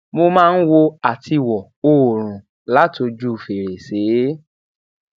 mo máa ń wo atiwo oòrùn látojú fèrèsé